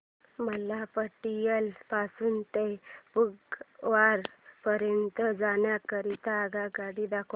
मला पटियाला पासून ते फगवारा पर्यंत जाण्या करीता आगगाड्या दाखवा